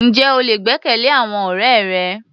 Ǹjẹ́ o lè gbẹ́kẹ̀lé àwọn ọ̀rẹ́ rẹ?